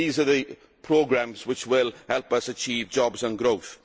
These are the programmes which will help us achieve jobs and growth.